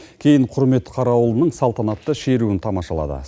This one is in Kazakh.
кейін құрмет қарауылының салтанатты шеруін тамашалады